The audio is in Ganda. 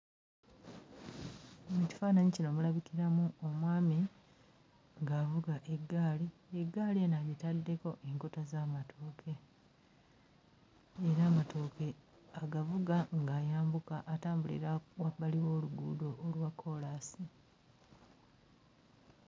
Mu kifaananyi kino mulabikiramu omwami ng'avuga eggaali, eggaali eno agitaddeko enkota z'amatooke era amatooke agavuga ng'ayambuka atambulira wabbali w'oluguudo olwa kkoolansi.